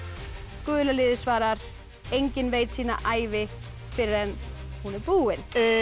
gula liðið svarar enginn veit sína ævi fyrr en hún er búin